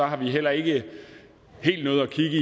har vi heller ikke helt nået at kigge